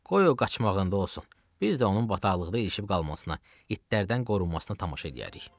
Qoy o qaçmağında olsun, biz də onun bataqlıqda ilişib qalmasına, itlərdən qorunmasına tamaşa eləyərik.